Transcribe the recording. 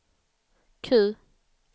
Q